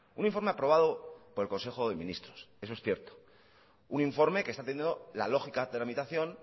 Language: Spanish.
un informe aprobado por el consejo de ministros eso es cierto un informe que está teniendo la lógica tramitación